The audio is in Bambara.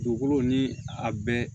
Dugukolo ni a bɛɛ